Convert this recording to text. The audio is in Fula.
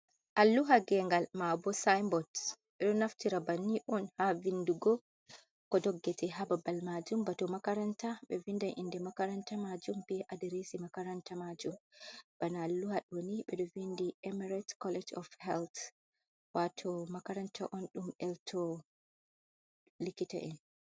Alluha gengal ma'bo synbots ɓeɗo naftira ba'nin on ha vindugo ko doggete ha babal majum bato makaranta ɓe vindan inde makaranta majum be adiresi makaranta majum, bana alluha ɗo ni ɓeɗo vindi emirate college of health wato makaranta on ɗum elto likita en.